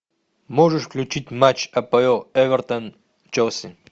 можешь включить матч апл эвертон челси